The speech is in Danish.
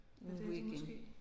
Nu igen